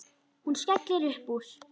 Hún skellir upp úr.